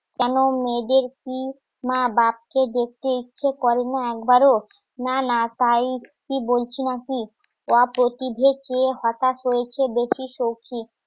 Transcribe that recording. কেন মেয়েদের কি মা বাপকে দেখতে ইচ্ছে করে না একবারও না না তাই কি বলছি মাসি